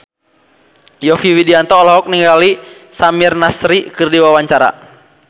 Yovie Widianto olohok ningali Samir Nasri keur diwawancara